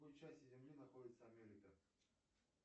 в какой части земли находится америка